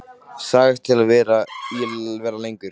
Sagðist til í að vera lengur.